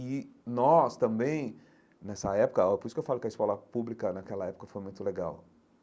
E nós também nessa época ãh por isso que eu falo que a escola pública naquela época foi muito legal.